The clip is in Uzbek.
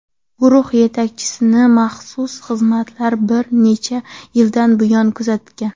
Guruh yetakchisini maxsus xizmatlar bir necha yildan buyon kuzatgan.